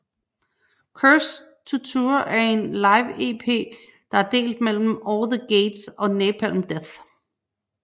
Cursed to Tour er en live EP der er delt mellem At the Gates og Napalm Death